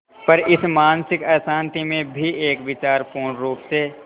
पर इस मानसिक अशांति में भी एक विचार पूर्णरुप से